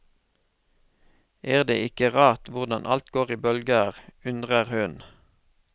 Er det ikke rart hvordan alt går i bølger, undrer hun.